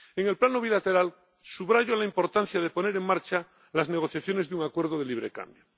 En el plano bilateral, subrayo la importancia de poner en marcha las negociaciones de un acuerdo de libre cambio.